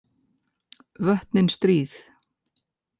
Vötnin stríð.